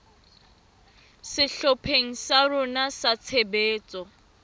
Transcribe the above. sehlopheng sa rona sa tshebetso